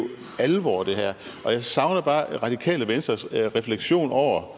alvor og jeg savner bare radikale venstres refleksion